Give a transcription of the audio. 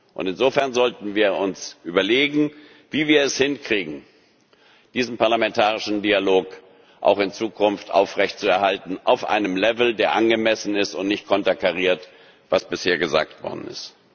nicht. Und insofern sollten wir uns überlegen, wie wir es hinkriegen, diesen parlamentarischen Dialog auch in Zukunft aufrecht zu erhalten auf einem Level, der angemessen ist und nicht konterkariert, was bisher gesagt worden